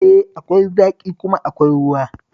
E, akwai zaƙi kuma akwai ruwa